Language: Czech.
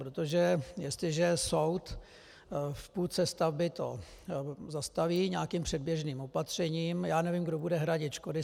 Protože jestliže soud v půlce stavby to zastaví nějakým předběžným opatřením, já nevím, kdo bude hradit škody.